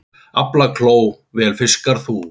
Aflakló vel fiskar sú.